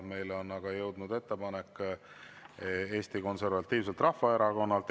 Meile on aga jõudnud ettepanek Eesti Konservatiivselt Rahvaerakonnalt.